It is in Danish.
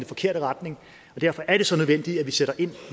forkerte retning og derfor er det så nødvendigt at vi sætter ind